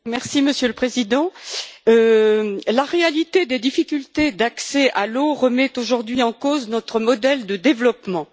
Monsieur le Président, la réalité des difficultés d'accès à l'eau remet aujourd'hui en cause notre modèle de développement.